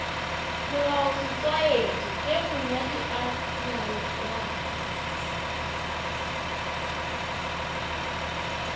molaosetlwaedi ge monyadi a nyalana